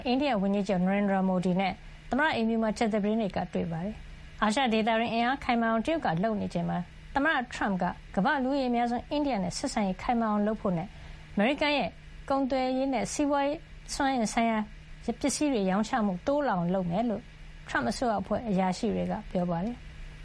အိန္ဒိယဝန်ကြီး ချုပ်ကို သမ္မတ Trump တွန်းအားပေး အာရှဒေသတွင်း အင်အားခိုင်မာအောင် တရုတ်က လုပ်ဆောင်နေချိန်မှာ သမ္မတထရမ့်က ကမ္ဘာ့လူဦးရေအများဆုံး အိန္ဒိယနဲ့ ဆက်ဆံရေး ခိုင်မာအောင်လုပ်ဖို့နဲ့ အမေရိကန်ရဲ့ ကာကွယ်ရေးနဲ့ စွမ်းအင်ဆိုင်ရာပစ္စည်းတွေ ရောင်းချမှုတိုးလာအောင် လုပ်ဆောင်မှာ ဖြစ်ကြောင်း ထရမ့်အစိုးရအဖွဲ့ အရာရှိတွေက ပြောပါတယ်။